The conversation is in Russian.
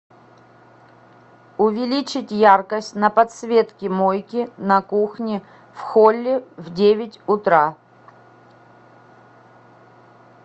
увеличить яркость на подсветке мойки на кухне в холле в девять утра